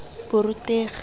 borutegi